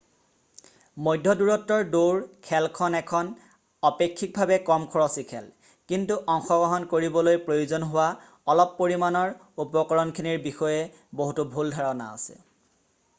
মধ্য দূৰত্বৰ দৌৰ খেলখন এখন অপেক্ষিকভাৱে কম খৰচী খেল কিন্তু অংশগ্ৰহণ কৰিবলৈ প্ৰয়োজন হোৱা অলপ পৰিমাণৰ উপকৰণখিনিৰ বিষয়ে বহুতো ভুল ধাৰণা আছে